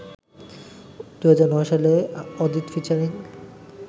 ২০০৯ সালে অদিত ফিচারিং